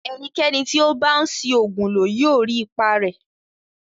Ẹnikẹni tí ó bá ń ṣi oògùn lò yóò rí ipa rẹ̀